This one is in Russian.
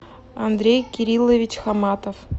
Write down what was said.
андрей кириллович хаматов